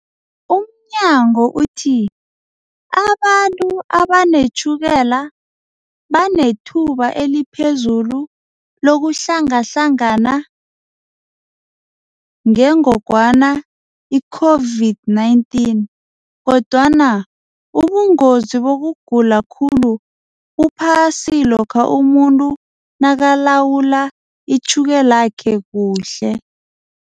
Umnyango uthi abantu abanetjhukela banethuba eliphezulu lokuhlangahlangana ngengogwana i-COVID-19, kodwana ubungozi bokugula khulu buphasi lokha umuntu nakalawula itjhukelakhe kuhle.